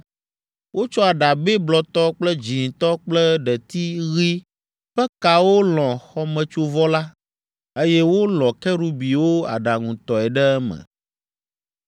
Wotsɔ aɖabɛ blɔtɔ kple dzĩtɔ kple ɖeti ɣi ƒe kawo lɔ̃ xɔmetsovɔ la, eye wolɔ̃ Kerubiwo aɖaŋutɔe ɖe eme.